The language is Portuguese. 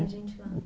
Tem gente lá?